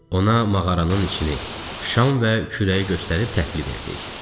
Ona mağaranın içini, şam və kürəyi göstərib təhvil verdik.